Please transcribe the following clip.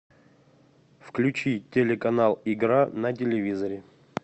включи телеканал игра на телевизоре